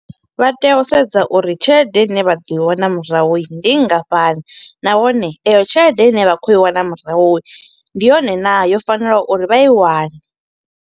Vha tea u sedza uri tshelede ine vha ḓo i wana murahu ndi nngafhani. Nahone, iyo tshelede ine vha kho i wana murahu, ndi yone naa, yo fanelaho uri vha i wane.